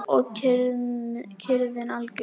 Og kyrrðin algjör.